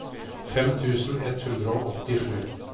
fem tusen ett hundre og åttisju